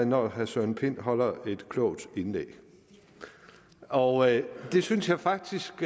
når herre søren pind holder et klogt indlæg og det synes jeg faktisk